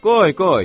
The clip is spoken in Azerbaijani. Qoy, qoy.